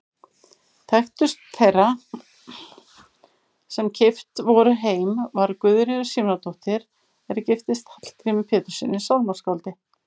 Þekktust þeirra sem keypt voru heim var Guðríður Símonardóttir er giftist Hallgrími Péturssyni sálmaskáldi.